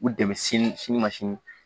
U dɛmɛ sini sini ma sini